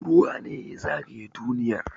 Ruwa ne ya zagaye duniyar